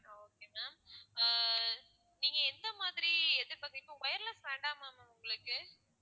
okay ma'am ஆஹ் நீங்க எந்த மாதிரி எதிர்பாக்குறீங்க wireless வேண்டாமா ma'am உங்களுக்கு